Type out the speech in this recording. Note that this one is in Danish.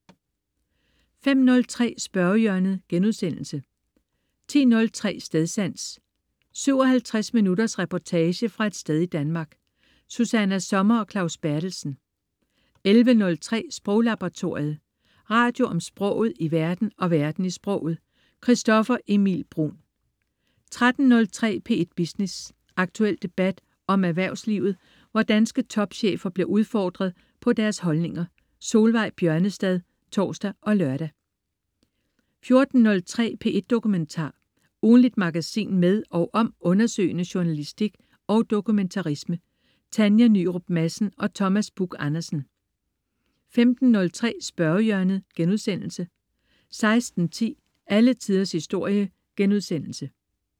05.03 Spørgehjørnet* 10.03 Stedsans. 57 minutters reportage fra et sted i Danmark. Susanna Sommer og Claus Berthelsen 11.03 Sproglaboratoriet. Radio om sproget i verden og verden i sproget. Christoffer Emil Bruun 13.03 P1 Business. Aktuel debat om erhvervslivet, hvor danske topchefer bliver udfordret på deres holdninger. Solveig Bjørnestad (tors og lør) 14.03 P1 Dokumentar. Ugentligt magasin med og om undersøgende journalistik og dokumentarisme. Tanja Nyrup Madsen og Thomas Buch Andersen 15.03 Spørgehjørnet* 16.10 Alle Tiders Historie*